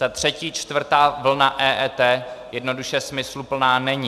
Ta třetí čtvrtá vlna EET jednoduše smysluplná není.